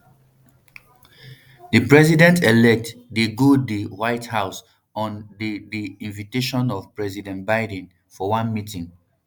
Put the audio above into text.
di presidentelect dey go di white house on di di invitation of president biden for one meeting